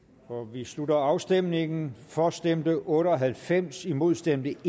vi slutter afstemningen for stemte otte og halvfems imod stemte